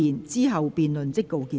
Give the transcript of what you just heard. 之後辯論即告結束。